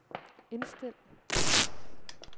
indstil